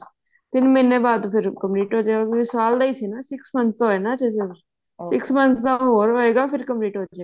ਤਿੰਨ ਮਹੀਨੇ ਬਾਅਦ ਫ਼ੇਰ complete ਹੋਜੇਗਾ ਸਾਲ ਦਾ ਹੀ ਸੀ ਨਾ six months ਦਾ ਹੋਇਆ ਨਾ six months ਦਾ ਹੋਰ ਹੋਏਗਾ ਫ਼ੇਰ complete ਹ੍ਜੇਗਾ